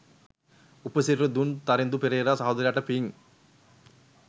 උප සිරැසි දුන් තරිඳු පෙරේරා සහෝදරයාට පිං.